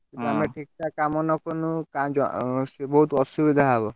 ଆମେ ଠିକଠାକ୍କାମ ନ କଲୁ ବହୁତ୍ ଅସୁବିଧା ହବ।